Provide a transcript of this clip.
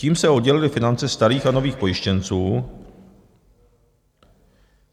Tím se oddělily finance starých a nových pojištěnců.